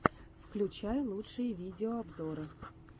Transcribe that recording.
включай лучшие видеообзоры